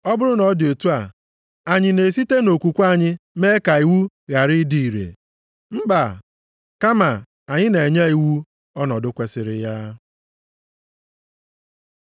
Ọ bụrụ na ọ dị otu a, anyị na-esite nʼokwukwe anyị mee ka iwu ghara ịdị ire? Mba! Kama anyị na-enye iwu ọnọdụ kwesiri ya.